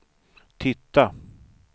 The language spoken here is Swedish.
titta